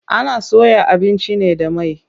Ana soya abinci ne da mai.